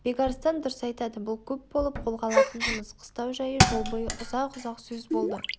бекарыстан дұрыс айтады бұл көп болып қолға алатын жұмыс қыстау жайы жол бойы ұзақ-ұзақ сөз болды